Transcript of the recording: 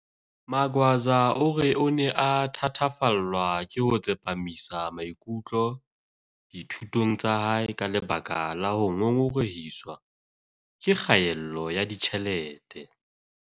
Magwaza o re o ne a thatafallwa ke ho tsepamisa maikutlo dithu tong tsa hae ka lebaka la ho ngongorehiswa ke kgaello ya ditjhelete.